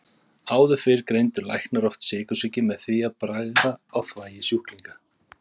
Áður fyrr greindu læknar oft sykursýki með því að bragða á þvagi sjúklinga.